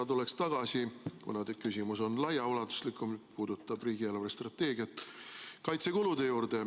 Ma tuleks tagasi kaitsekulude juurde, kuna küsimus on laiaulatuslikum ja puudutab riigi eelarvestrateegiat.